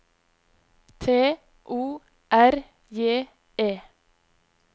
T O R J E